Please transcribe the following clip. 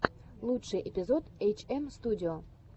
лучший эпизод эйчэмстудио